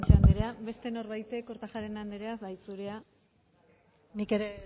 guanche ancerea beste norbaitek kortajarena anderea bai zurea nik ere